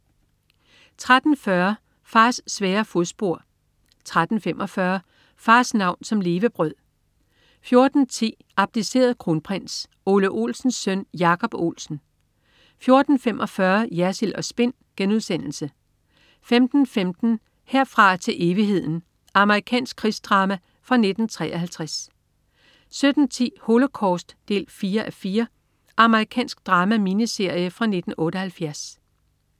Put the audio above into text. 13.40 Fars svære fodspor 13.45 Fars navn som levebrød 14.10 Abdiceret kronprins. Ole Olsens søn Jacob Olsen 14.45 Jersild & Spin* 15.15 Herfra til evigheden. Amerikansk krigsdrama fra 1953 17.10 Holocaust. 4:4 Amerikansk drama-miniserie fra 1978